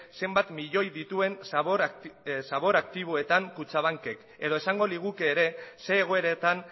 zenbat milioi dituen zabor aktiboetan kutxabankek edo esango liguke ere zein egoeretan